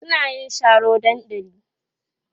suna yin Sharo dandali